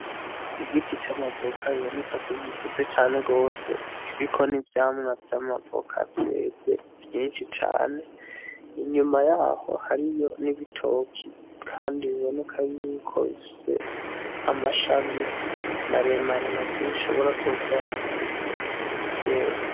Igiti c'amavoka biboneka ko gikuze cane gose kiriko n'ivyamwa vy'amavoka vyeze vyinshi cane, inyuma yaho hariyo n'ibitoki kandi biboneka yuko bifise amashami maremare navyo bishobora kuba bikuze vyeze.